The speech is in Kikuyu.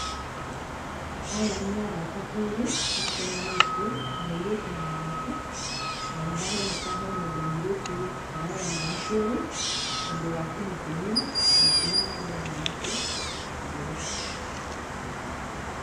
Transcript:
Aya nĩ arata erĩ macemanĩtie, mũirĩtu na mwanake na nĩ haroneka hena ũndũ mũirĩtu arera mwanake ũyũ, ũndũ wa kũmũkenia. Gĩtũmi nĩ tũrona mwanake agĩtheka.